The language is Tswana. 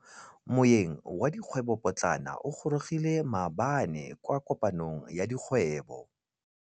Moêng wa dikgwêbô pôtlana o gorogile maabane kwa kopanong ya dikgwêbô.